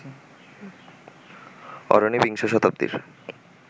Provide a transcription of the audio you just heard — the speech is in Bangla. অরণি বিংশ শতাব্দীর